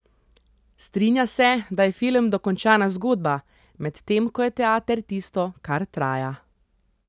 Strinja se, da je film dokončana zgodba, medtem ko je teater tisto, kar traja ...